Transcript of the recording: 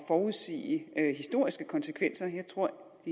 forudsige historiske konsekvenser jeg tror